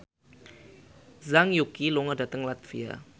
Zhang Yuqi lunga dhateng latvia